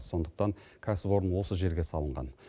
сондықтан кәсіпорын осы жерге салынған